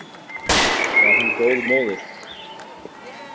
Var hún góð móðir?